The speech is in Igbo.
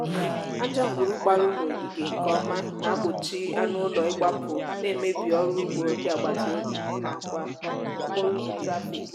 aja ngwuru gbara ụlọ ogige nkeọma na-gbochi anụụlọ ịgbapụ na-emebi ọrụugbo ndị agbataobi n'akwa okporoụzọ trafik